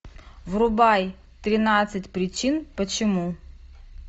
врубай тринадцать причин почему